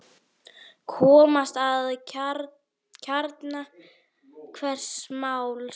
Komast að kjarna hvers máls.